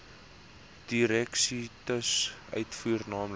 dieresiektes uitvoer naamlik